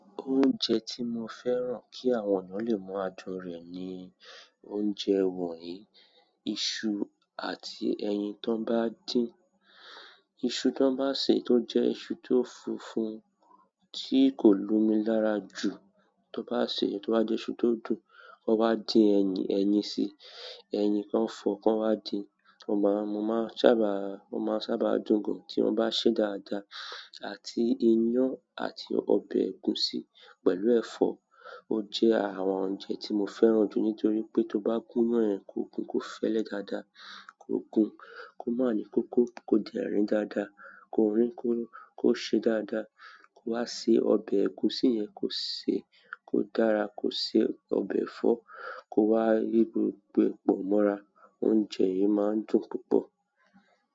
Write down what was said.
Oúnjẹ tí mo fẹ́ràn kí àwọn eeyan lè mọ adùn rẹ̀ ni oúnjẹ wọ̀nyí, iṣu àti ẹyin tan bá din. Iṣu tí wọ́n bá sè tó jẹ́ iṣu tó funfun tí kò lomi lára jù tó bá sè é tí ó bá jẹ́ iṣu tó dùn, wọn wá dín ẹyin, ẹyin sí i, ẹyin kan fọ̀ kan wá dín. Mo máa, mo máa sábà, o máa sábà dún gan tí wọ́n bá sè é dáadáa àti iyán àti ọbẹ̀ ẹ̀gúsí pẹ̀lú ẹ̀fọ́. O jẹ́ àwọn oúnjẹ tí mo fẹ́ràn jù nítorí pé tó bá gún iyán kòògùn kó fẹ́lẹ́ dáadáa, kò gùn kó má ni kókó ko dẹ rín dáadáa, kò rín ko se e dáadáa, ko wa se ọbẹ egusi yẹn ko se e ko dára, ko se e ọbẹ ẹ̀fọ́ ko wa ti gbogbo ẹ pọ mọra. Oúnjẹ yìí máa ń dùn púpọ̀.